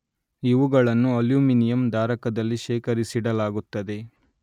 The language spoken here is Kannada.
ಇವುಗಳನ್ನು ಅಲ್ಯೂಮಿನಿಯಂ ಧಾರಕದಲ್ಲಿ ಶೇಖರಿಸಿಡಲಾಗುತ್ತದೆ